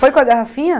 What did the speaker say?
Foi com a garrafinha?